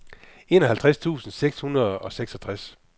enoghalvtreds tusind seks hundrede og seksogtres